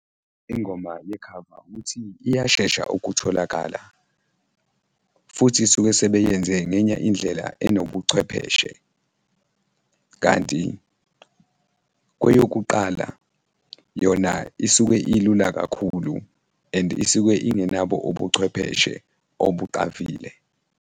Ingoma yekhava ukuthi iyashesha ukutholakala futhi suke sebeyenze ngenye indlela enobuchwepheshe kanti kweyokuqala, yona isuke ilula kakhulu and isuke ingenabo ubuchwepheshe obuxavile.